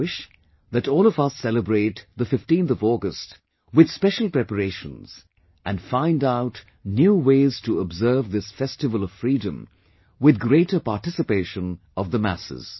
I wish that all of us celebrate 15th August with special preparations and find out new ways to observe this festival of freedom with greater participation of masses